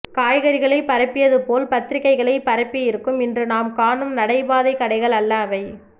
காய்கறிகளை பரப்பியதுபோல் பத்திரிகைகளை பரப்பியிருக்கும் இன்று நாம் காணும் நடைபாதைக் கடைகள் அல்ல அவை